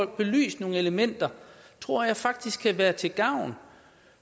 belyst nogle elementer tror jeg faktisk kan være til gavn